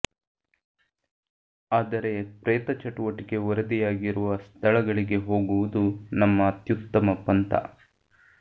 ಆದರೆ ಪ್ರೇತ ಚಟುವಟಿಕೆ ವರದಿಯಾಗಿರುವ ಸ್ಥಳಗಳಿಗೆ ಹೋಗುವುದು ನಮ್ಮ ಅತ್ಯುತ್ತಮ ಪಂತ